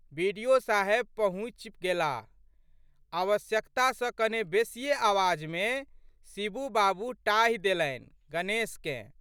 बि.डि.ओ.साहेब पहुँचि गेलाह। आवश्यकता सँ कने बेशिये आवाज़मे शिबू बाबू टाहि देलनि गणेशकेँ।